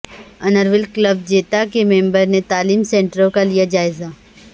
inner wheel club بیتا کے member نے تعلیم سنٹروں کا لیا جائزہ